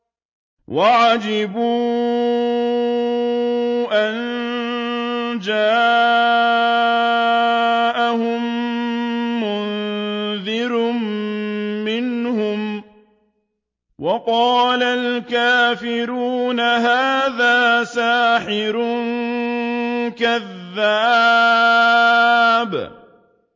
وَعَجِبُوا أَن جَاءَهُم مُّنذِرٌ مِّنْهُمْ ۖ وَقَالَ الْكَافِرُونَ هَٰذَا سَاحِرٌ كَذَّابٌ